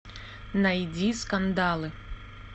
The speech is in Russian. найди скандалы